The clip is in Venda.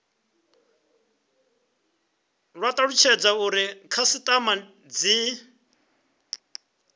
kwa talutshedza uri khasitama dzi